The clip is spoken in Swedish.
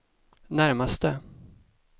närmaste